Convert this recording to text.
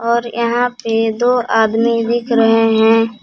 और यहां पे दो आदमी दिख रहे हैं।